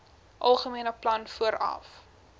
algemene plan vooraf